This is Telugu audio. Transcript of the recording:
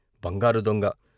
బంగారు దొంగ